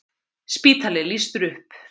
Spítali lýstur upp